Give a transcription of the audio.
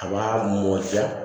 A b'a mɔ ja